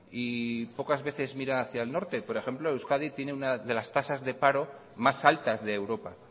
y pocas veces mira hacia el norte por ejemplo euskadi tiene una de las tasas de paro más altas de europa